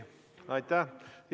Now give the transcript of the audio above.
Aitäh!